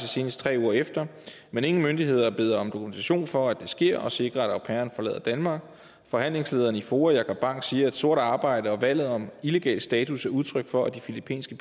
senest tre uger efter men ingen myndigheder beder om dokumentation for at det sker og sikrer at au pairen forlader danmark forhandlingslederen i foa jacob bang siger at sort arbejde og valget om illegal status er udtryk for at de filippinske